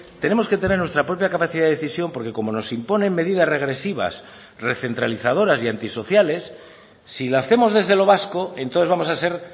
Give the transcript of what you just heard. tenemos que tener nuestra propia capacidad de decisión porque como nos imponen medidas regresivas recentralizadoras y antisociales si lo hacemos desde lo vasco entonces vamos a ser